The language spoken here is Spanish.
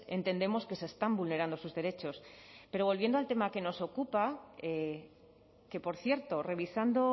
entendemos que se están vulnerando sus derechos pero volviendo al tema que nos ocupa que por cierto revisando